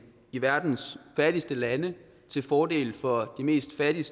i verdens fattigste lande til fordel for de mest fattige